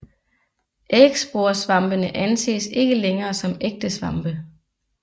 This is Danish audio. Ægsporesvampene anses ikke længere som ægte svampe